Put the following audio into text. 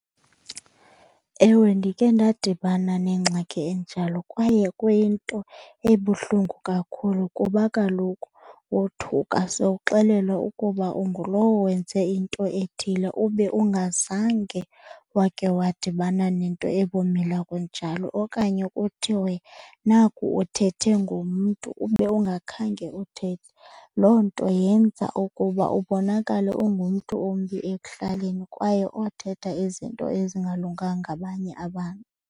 Ewe, ndike ndadibana nengxaki enjalo kwaye kwinto ebuhlungu kakhulu kuba kaloku wothuka sowuxelelwa ukuba ungulowo wenze into ethile ube ungazange wake wadibana nento ebumila kunjalo. Okanye kuthiwe naku uthethe ngomntu ube ungakhange uthethe. Loo nto yenza ukuba ubonakale ungumntu ombi ekuhlaleni kwaye othetha izinto ezingalunganga ngabanye abantu.